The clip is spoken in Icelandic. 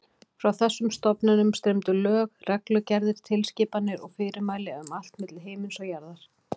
Frá þessum stofnunum streymdu lög, reglugerðir, tilskipanir og fyrirmæli um allt milli himins og jarðar.